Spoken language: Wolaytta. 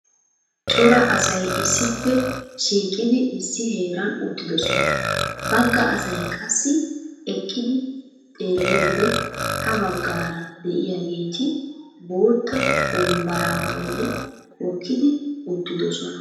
Cora asay issippe shiiqqidi issi heeran uttiddosona, bagga asay qassi eqqidi xeeliyode ha baggaara de'iyageeti bootta wonbbaraa bolli hokkidi uttiddosona,